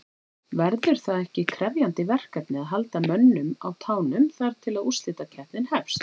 Verður það ekki krefjandi verkefni að halda mönnum á tánum þar til að úrslitakeppnin hefst?